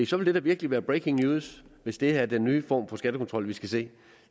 så vil det da virkelig være breaking news hvis det her er den nye form for skattekontrol vi skal se